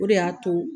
O de y'a to